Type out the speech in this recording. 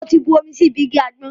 Mo ti bu omi sí ibi igi àgbọn.